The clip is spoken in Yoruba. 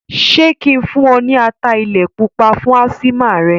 Ṣé kí n fún un ní ata ilẹ̀ pupa fún ásímà rẹ̀?